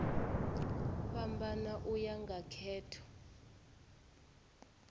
fhambana u ya nga khetho